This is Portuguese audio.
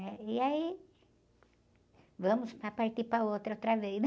né? E aí, vamos para partir para outra, outra vez, né?